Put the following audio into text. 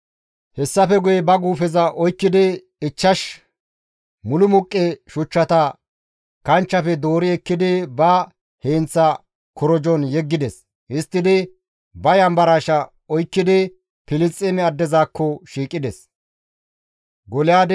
Hessafe guye ba guufeza oykkidi ichchash mulumuqqe shuchchata kanchchefe doori ekkidi ba heenththa korojon yeggides; histtidi ba yanbarshaa oykkidi Filisxeeme addezakko shiiqides.